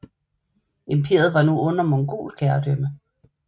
Imperiet var nu under mongolsk herredømme